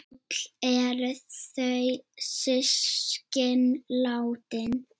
Öll eru þau systkin látin.